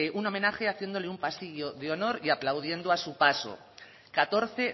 un homenaje haciéndole un pasillo de honor y aplaudiendo a su paso catorce